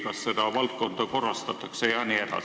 Kas seda valdkonda korrastatakse?